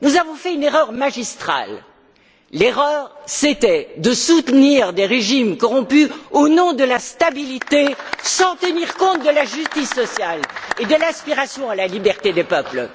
Nous avons fait une erreur magistrale c'était de soutenir des régimes corrompus au nom de la stabilité, sans tenir compte de la justice sociale et de l'aspiration à la liberté des peuples.